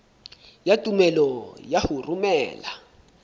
ya tumello ya ho romela